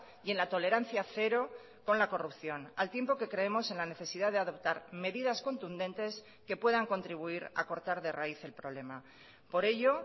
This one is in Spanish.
y en la tolerancia cero con la corrupción al tiempo que creemos en la necesidad de adoptar medidas contundentes que puedan contribuir a cortar de raíz el problema por ello